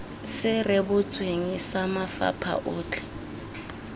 se rebotsweng sa mafapha otlhe